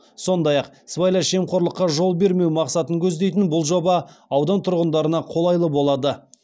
сондай ақ сыбайлас жемқорлыққа жол бермеу мақсатын көздейтін бұл жоба аудан тұрғындарына қолайлы болады